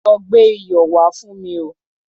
Lọ gbé iyọ̀ wá fún mi o.